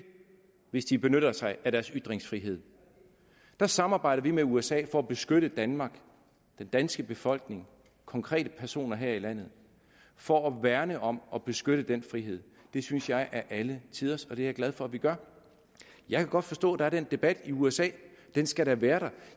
hvis de benytter sig af deres ytringsfrihed der samarbejder vi med usa for at beskytte danmark den danske befolkning og konkrete personer her i landet og for at værne om og beskytte den frihed det synes jeg er alle tiders og det er jeg glad for at vi gør jeg kan godt forstå at der er den debat i usa den skal da være der